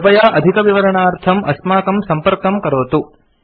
कृपया अधिकविवरणार्थम् अस्माकं संपर्कं करोतु